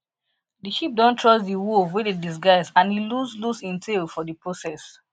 de sheep don trust de wolf wey dey disguise and e lose lose im tail for de process